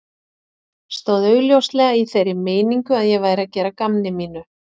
Stóð augljóslega í þeirri meiningu að ég væri að gera að gamni mínu.